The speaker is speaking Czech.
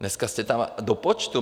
Dneska jste tam do počtu.